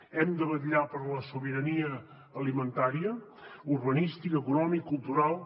hem de vetllar per la sobirania alimentària urbanística econòmica cultural